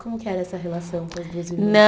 Como que era essa relação com as duas irmãs?